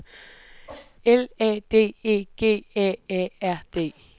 L A D E G A A R D